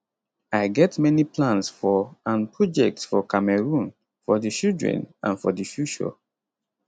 i get many plans for and projects for cameroon for di children and for di future